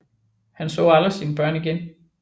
Han så aldrig sine børn igen